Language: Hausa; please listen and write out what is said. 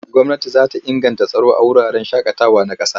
Gwamnati za ta inganta tsaro a wuraren shaƙatawa na ƙasa.